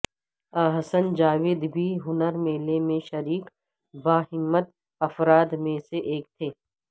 احسن جاوید بھی ہنر میلے میں شریک باہمت افراد میں سے ایک تھے